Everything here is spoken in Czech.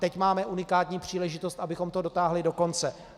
Teď máme unikátní příležitost, abychom to dotáhli do konce.